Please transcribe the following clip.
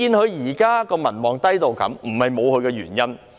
她現時低民望的程度，並非不無原因。